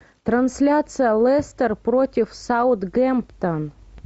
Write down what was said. трансляция лестер против саутгемптон